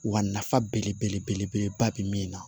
Wa nafa belebeleba bɛ min na